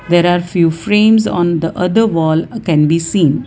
there are few frames on the other wall uh can be seen.